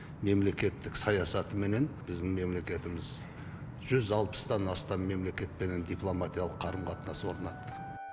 мемлекеттік саясатыменен біздің мемлекетіміз жүз алпыстан астам мемлекетпенен дипломатиялық қарым қатынас орнатты